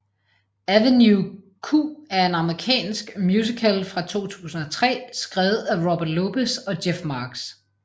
Avenue Q er en amerikansk musical fra 2003 skrevet af Robert Lopez og Jeff Marx